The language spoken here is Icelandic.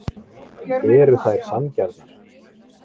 Eru þær sanngjarnar?